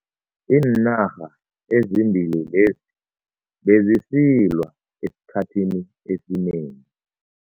Iinarha ezimbili lezi bezisilwa esikhathini esinengi.